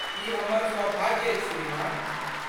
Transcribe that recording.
ई हमर सौभाग्य अछि श्रीमान।